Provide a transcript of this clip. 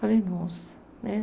Falei, nossa, né?